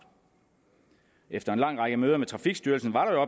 efter en lang række møder med trafikstyrelsen var der